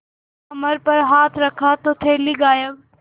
कमर पर हाथ रखा तो थैली गायब